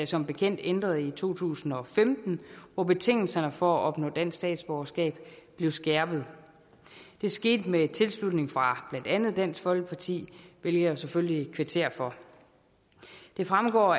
som bekendt ændret i to tusind og femten hvor betingelserne for at opnå dansk statsborgerskab blev skærpet det skete med tilslutning fra blandt andet dansk folkeparti hvilket jeg selvfølgelig kvitterer for det fremgår